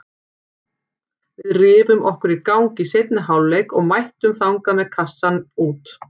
Við rifum okkur í gang í seinni hálfleik og mættum þangað með kassann út.